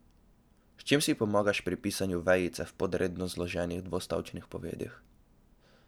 S čim si pomagaš pri pisanju vejice v podredno zloženih dvostavčnih povedih?